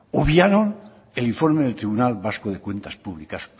obviaron el informe del tribunal vasco de cuentas públicas